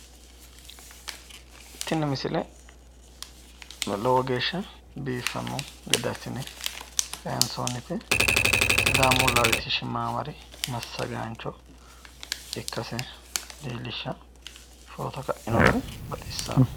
Tini misile lowo geeshsha biiffanno gede assine kayinsoonnite sidaamu latishshi maamari massagaancho ikkase leellishshanno footo ka'ino gari baxissawo